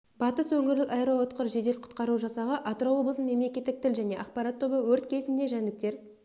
батыс өңірлік аэроұтқыр жедел құтқару жасағы атырау облысының мемлекеттік тіл және ақпарат тобы өрт кезінде жәндіктер